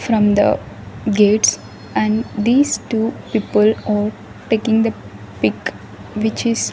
From the gates and these two people are taking the pic which is --